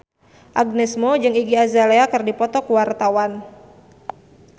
Agnes Mo jeung Iggy Azalea keur dipoto ku wartawan